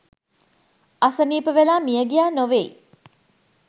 අසනීප වෙලා මියගියා නොවෙයි.